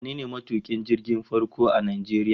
Wane ne matukin jirgin farko a Najeriya?